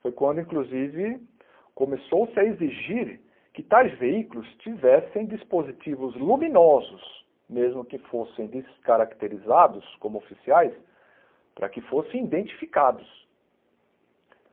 Foi quando, inclusive, começou-se a exigir que tais veículos tivessem dispositivos luminosos, mesmo que fossem descaracterizados como oficiais, para que fossem identificados.